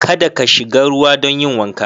Ka da ka shiga ruwa don yin wanka.